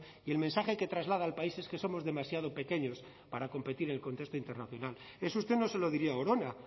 y el mensaje que traslada al país es que somos demasiado pequeños para competir en el contexto internacional eso usted no se lo diría a orona